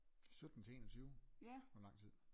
sytten til enogtyve det lang tid